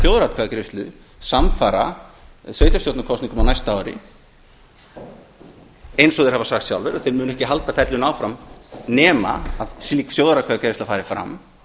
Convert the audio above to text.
þjóðaratkvæðagreiðslu samfara sveitarstjórnarkosningum á næsta ári eins og þeir hafa sagt sjálfir að þeir muni ekki halda ferlinu áfram nema slík þjóðaratkvæðagreiðsla fari fram